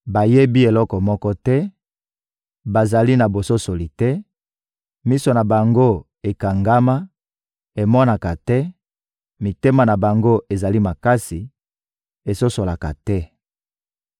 Bayebi eloko moko te, bazali na bososoli te; miso na bango ekangama, emonaka te; mitema na bango ezali makasi, esosolaka te.